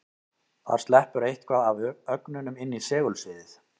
Þar sleppur eitthvað af ögnunum inn í segulsviðið.